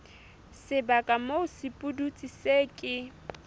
sebaka moo sepudutsi se ke